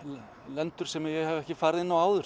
lendur sem ég hef ekki farið inn á áður